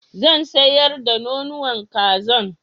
Zan sayar da nonuwan kazan